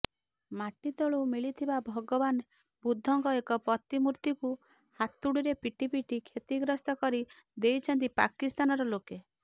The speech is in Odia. ମାଟିତଳୁ ମିଳିଥିବା ଭଗବାନ ବୁଦ୍ଧଙ୍କ ଏକ ପ୍ରତିମୂର୍ତ୍ତିକୁ ହାତୁଡିରେ ପିଟି ପିଟି କ୍ଷତିଗ୍ରସ୍ତ କରି ଦେଇଛନ୍ତି ପାକିସ୍ତାନର ଲୋକେ